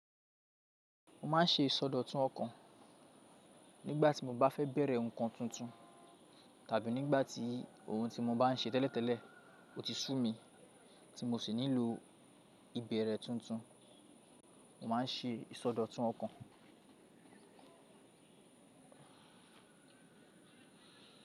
Mo ma n ṣe ìsọdọ̀tun ọ̀kan, nígbà tí mo bá fẹ́ bẹ̀rẹ̀ nǹkan tuntun tàbí nígbà tí ohun tí mo bá n ṣe tẹ́lẹ̀tẹ́lẹ̀ o ti sú mi tí mo sì nílò ìbẹ̀rẹ̀ tuntun. Mo ma n ṣe ìsọdọ̀tun ọ̀kan.